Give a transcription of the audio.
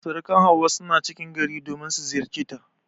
Surukan Hauwa suna cikin gari domin su ziyarceta.